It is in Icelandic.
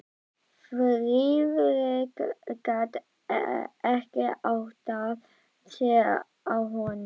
Friðrik gat ekki áttað sig á honum.